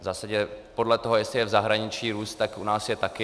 V zásadě podle toho, jestli je v zahraničí růst, tak u nás je taky.